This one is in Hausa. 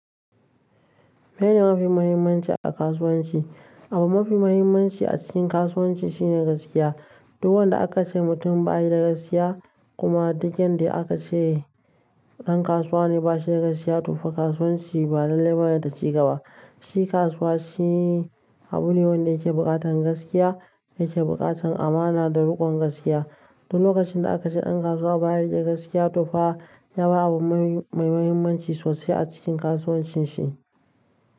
Me mafi muhimmanci a kasuwanci? Abu mafi muhimmanci a cikin kasuwanci shine gaskiya. Duk wanda aka ce mutum ba yi da gaskiya kuma dukan dai aka ce ɗan kasuwa ne ba shi da gaskiya to fa kasuwanci ba lallai bane ta ci daba. Shi kasuwa shi abu ne wanda yake buƙatar gaskiya, yake buƙatar amana da riƙon gaskiya. Duk lokacin da aka ce ɗan kasuwa ba ya yi da gaskiya to fa ya bar abu mai mahimmanci sosai a cikin kasuwancin shi.